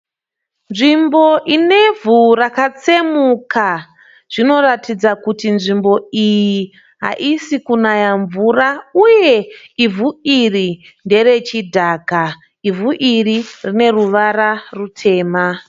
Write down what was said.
Nzvimbo inevhu rakatsemuka. Zvinoratidza kuti nzvimbo iyi haisi kunaya mvura uye ivhu iri ndere chidhaka . Ivhu iri rine ruvara rutema .